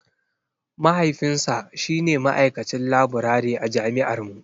Mahaifinsa shi ne ma'aikacin laburare a jami'ar mu.